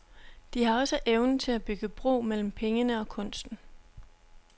De har også evnen til at bygge bro mellem pengene og kunsten.